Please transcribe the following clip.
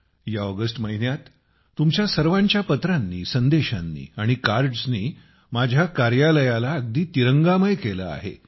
या ऑगस्ट महिन्यात तुमच्या सर्वांच्या पत्रांनी संदेशांनी आणि कार्ड्सनी माझ्या कार्यालयाला अगदी तिरंगामय केले आहे